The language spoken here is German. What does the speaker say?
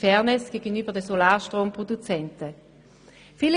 Fairness gegenüber den Produzenten von Solarstrom.